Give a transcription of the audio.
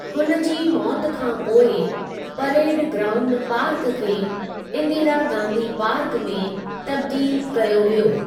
हुन जी मौत खां पोइ, परेड ग्राउंड पार्क खे इंदिरा गांधी पार्क में तब्दील कयो वियो।